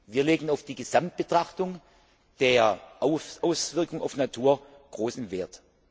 Wir legen auf die Gesamtbetrachtung der Auswirkungen auf die Natur großen Wert.